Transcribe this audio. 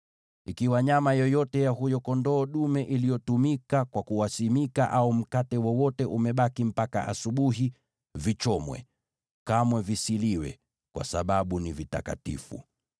Ikiwa nyama yoyote ya huyo kondoo dume iliyotumika kwa kuwaweka wakfu au mkate wowote umebaki mpaka asubuhi, vichomwe. Kamwe visiliwe, kwa sababu ni vitakatifu.